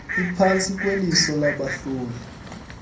iphantsi kweliso labahloli